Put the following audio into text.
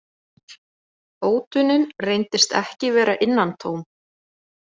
Hótunin reyndist ekki vera innantóm.